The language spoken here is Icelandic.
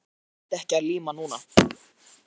En Heiða nennti ekki að líma núna.